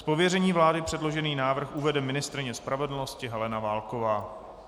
Z pověření vlády předložený návrh uvede ministryně spravedlnosti Helena Válková.